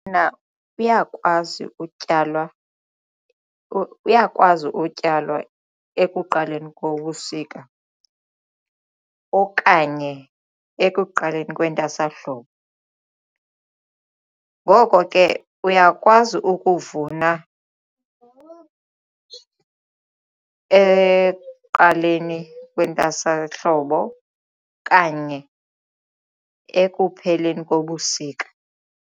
uyakwazi utyalwa, uyakwazi utyalwa ekuqaleni kobusika okanye ekuqaleni kwentwasahlobo ngoko ke uyakwazi ukuvuna ekuqaleni kwentwasahlobo okanye ekupheleni kobusika.